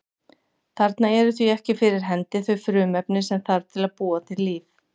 Þarna eru því ekki fyrir hendi þau frumefni sem þarf til að búa til líf.